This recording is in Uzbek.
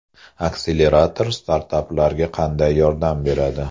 Akselerator startaplarga qanday yordam beradi?